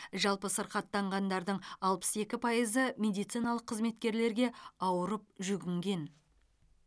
жалпы сырқаттанғандардың алпыс екі пайызы медициналық қызметкерлерге ауырып жүгінген